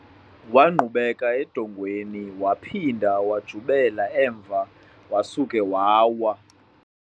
Wangqubeka edongeni waphinda wajubela emva wasuka wawa.